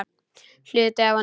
Hluti af honum.